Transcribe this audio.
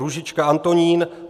Růžička Antonín